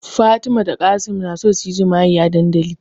Fatima da Qassim na so suyi jima'i a dandali